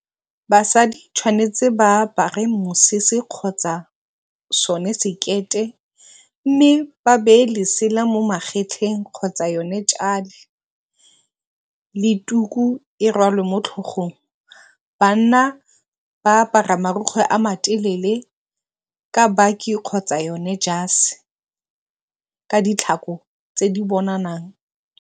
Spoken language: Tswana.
Basadi tshwanetse ba apare mosese kgotsa sone sekete mme, ba beye lesela mo magetleng kgotsa yone le tuku e rwalwe mo tlhogong. Banna ba apara marukgwe a ma telele ka baki kgotsa yone jase ka ditlhako tse di .